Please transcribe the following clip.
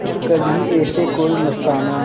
जब कभी ऐसे कोई मस्ताना